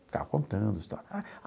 Ficava contando a história.